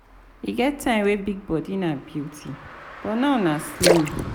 E get time wey big body na beauty but now nah slim.